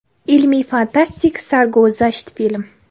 Ilmiy-fantastik, sarguzasht film.